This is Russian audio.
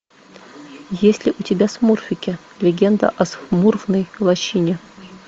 есть ли у тебя смурфики легенда о смурфной лощине